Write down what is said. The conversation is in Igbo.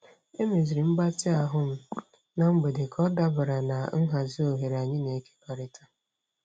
Emeziri m mgbatị ahụ m na mgbede ka ọ dabara na nhazi oghere anyị na-ekekọrịta.